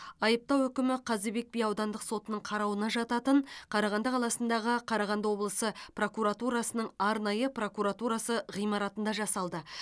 айыптау үкімі қазыбек би аудандық сотының қарауына жататын қарағанды қаласындағы қарағанды облысы прокуратурасының арнайы прокуратурасы ғимаратында жасалды